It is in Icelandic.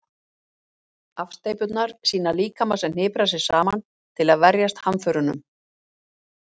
Afsteypurnar sýna líkama sem hniprar sig saman til að verjast hamförunum.